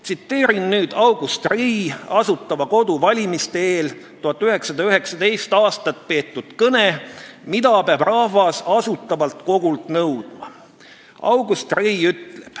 Tsiteerin nüüd August Rei Asutava Kogu valimiste eel 1919. aastal peetud kõnet "Mida peab rahvas Asutavalt Kogult nõudma?